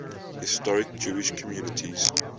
historic jewish communities